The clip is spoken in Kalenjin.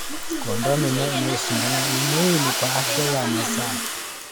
Kuondoa mimea inayoshindana ni muhimu kwa afya ya mazao.